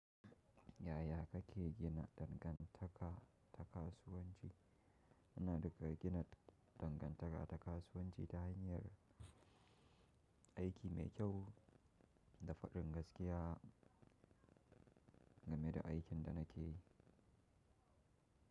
Yaya kake gina dangantaka ta kasuwanci? Ina riga gina dangantaka ta kasuwanci ta hanyar aiki mai kyau da faɗin gaskiya game da aikin da nake yi.